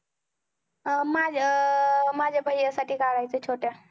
अं माझ्या अं माझ्या भैय्या साठी काढायचंय छोट्या.